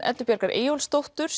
Eddu Bjargar Eyjólfsdóttur